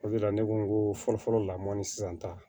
O de la ne ko n ko fɔlɔfɔlɔ la mɔni sisan ta